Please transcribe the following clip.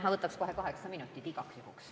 Ma võtaks kohe kaheksa minutit, igaks juhuks.